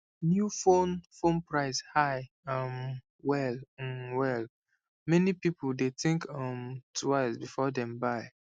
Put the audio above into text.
new phone phone price high um well um well many people dey think um twice before dem buy